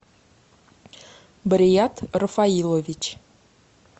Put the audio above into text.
барият рафаилович